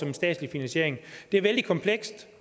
en statslig finansiering det er vældig komplekst